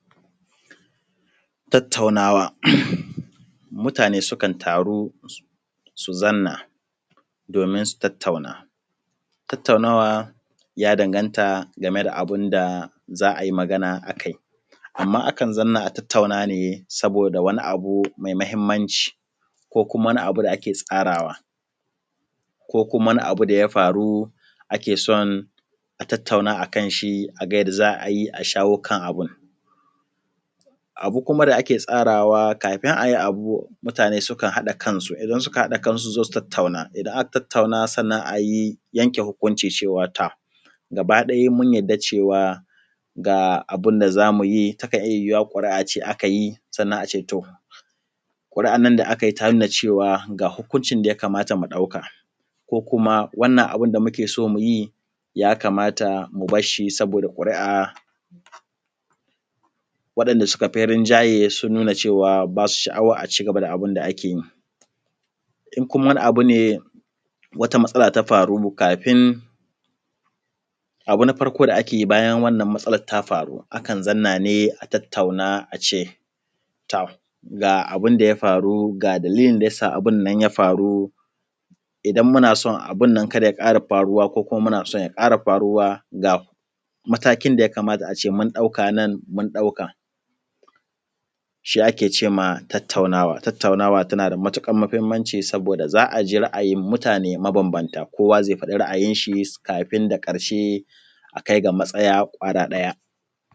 Tattaunawa, Mutane su kan taru su zanna domin su tattauna. Tattaunawa ya danganta game da abun da za ayi magana akai, amma akan zanna a tattauna ne saboda wani mai mahimmanci, ko kuma wani abu da ake tsarawa, ko kuma wani abu daya faru ake son a tattauna akan shi aga yadda za a yi a shawo kan abun. Abu kuma da ake tsarawa kafin ayi abu mutane sukan haɗa kansu, idan suka haɗa kansu su zo su tattauna, idan aka tattauna sannan ayi yanke hukunci cewa to gaba mun yadda cewa ga abun da zamu yi, takan iya yiwuwa ƙuri’a ce akayi sannan ace to ƙuru’an nan da akayi ta nuna cewa ga hukuncin daya kamata mu ɗauka ko kuma wannan abunda muke so mu yi ya kamata mu barshi saboda ƙuri’a, wanda da suka fi rinjaye sun nuna cewa basu sha’awan aci gaba da abin da ake yi. In kuma wani abu ne wata matsala ta faru kafin abu na farko da ake yi bayan wannan matsalar ta faru akan zanna ne a tattauna ace tom ga abinda ya faru ga dalilin da yasa abun nan ya faru, idan muna so abun nan kada ya ƙara faruwa ko kuma muna so ya ƙara faruwa ga matakin daya kamata ace mun ɗauka nan mun ɗauka. Shi ake cema tattaunawa. Tattaunawa tana da matuƙar mahimmanci saboda za aji ra’ayin mutane mabambanta, kowa zai fadi ra’ayin shi kafin da ƙarshe a kai ga matsaya kwaya ɗaya.